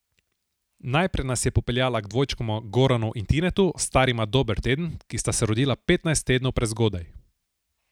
Najprej nas je popeljala k dvojčkoma Goranu in Tinetu, starima dober teden, ki sta se rodila petnajst tednov prezgodaj.